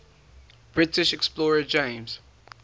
british explorer james